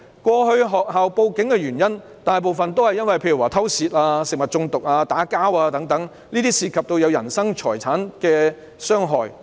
過去學校報警的原因，大部分是偷竊、食物中毒、打架等，涉及人身財產的傷害。